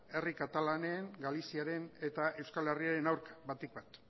herri katalanen galiziaren eta euskal herriaren aurka batik bat